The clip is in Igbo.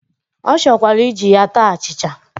Ọ chọkwara iji ya taa achịcha